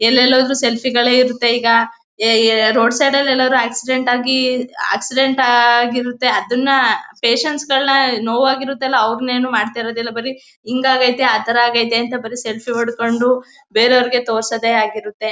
ಎಲ್ಲೆಲ್ಲಿ ಹೋದ್ರು ಸೆಲ್ಫಿ ಗಳೇ ಇರುತ್ತೆ ಈಗ ಎ ಏ ರೋಡ್ ಸೈಡ್ ಲೆಲ್ಲಾದ್ರೂ ಆಕ್ಸಿಡೆಂಟ್ ಆಗಿ ಆಕ್ಸಿಡೆಂಟ್ ಆಗಿರುತ್ತೆ ಅದನ್ನ ಪೇಷಂಟ್ ಸ್ ಗಳ್ನ ನೋವಾಗಿರುತ್ತೆ ಅಲ್ಲ ಅವ್ರನ್ನ ಏನು ಮಾಡ್ತಾ ಇರೋದಿಲ್ಲ ಬರೀ ಹಿಂಗಾಗೈತೆ ಆ ತರ ಆಗೈತೆ ಅಂತ ಬರಿ ಸೆಲ್ಫಿ ಹೊಡ್ಕೊಂಡು ಬೇರೆಯವರಿಗೆ ತೋರಿಸೋದೇ ಆಗಿರುತ್ತೆ.